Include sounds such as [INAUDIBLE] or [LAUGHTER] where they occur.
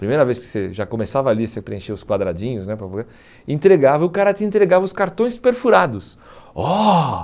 Primeira vez que você já começava ali, você preenchia os quadradinhos né, [UNINTELLIGIBLE] entregava e o cara te entregava os cartões perfurados. Oh